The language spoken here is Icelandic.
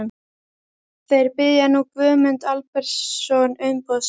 Þeir biðja nú Guðmund Albertsson umboðsmann